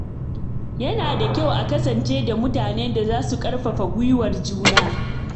Yana da kyau a kasance da mutanen da za su ƙarfafa guiwar juna.